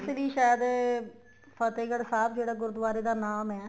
ਲਈ ਸਾਇਦ ਫਤਿਹਗੜ੍ਹ ਸਾਹਿਬ ਜਿਹੜਾ ਗੁਰੂਦਆਰੇ ਦਾ ਨਾਮ ਏ